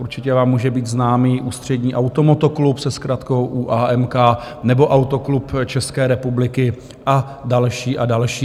Určitě vám může být známý Ústřední automotoklub se zkratkou ÚAMK nebo Autoklub České republiky a další a další.